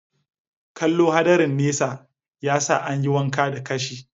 Kallo hadarin nesa, ya sa an yi wanka da kashi.